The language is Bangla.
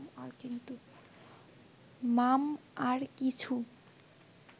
মাম... আর কিছু